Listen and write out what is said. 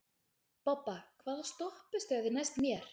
Bobba, hvaða stoppistöð er næst mér?